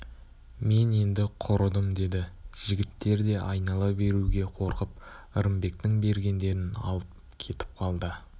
мен енді құрыдым деді жігіттер де айнала беруге қорқып ырымбектің бергендерін алып кетіп қалды